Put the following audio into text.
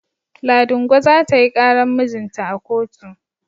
Ladingo za ta yi ƙaran mijinta a kotu.